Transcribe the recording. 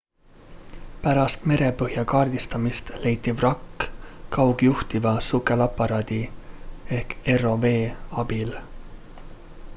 pärast merepõhja kaardistamist leiti vrakk kaugjuhitava sukelaparaadi rov abil